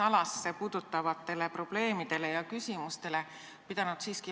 Hindade tõusmine võib olla tagajärg mingile toimunud muutusele, aga kunstlikult meie valitsus seda kindlasti ei tee.